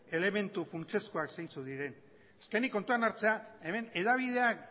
elementu funtsezkoa zeintzuk diren azkenik kontuan hartzea hemen hedabideak